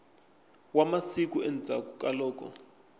wa masiku endzhaklu ka loko